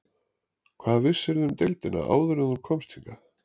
Hvað vissirðu um deildina áður en þú komst hingað?